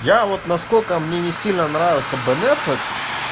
я вот наскоко мне не сильно нравился бенефек